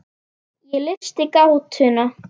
Ég leysti gátuna.